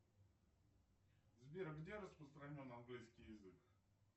сбер где распространен английский язык